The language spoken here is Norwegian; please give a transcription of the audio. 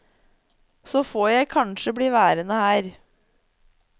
Så får jeg kanskje bli værende her.